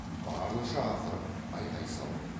барынша ақырып айғай салып